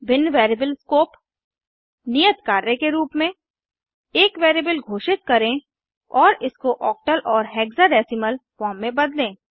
भिन्न variable scope नियत कार्य के रूप में एक वेरिएबल घोषित करें और इसको ओक्टल और हेक्साडेसिमल फॉर्म में बदलें